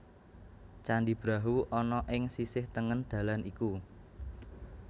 Candhi Brahu ana ing sisih tengen dalan iku